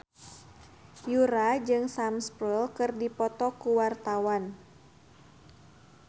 Yura jeung Sam Spruell keur dipoto ku wartawan